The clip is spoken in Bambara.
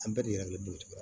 An bɛɛ de yɛrɛ be butigi la